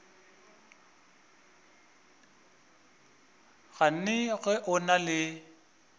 gane ge o na le